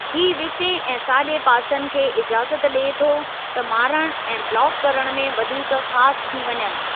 ही विचें ऐं साॼे पासनि खे इजाज़त ॾिए थो त मारणु ऐं ब्लाक करणु में वधीक ख़ासि थी वञनि।